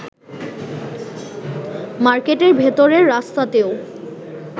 মার্কেটের ভেতরের রাস্তাতেও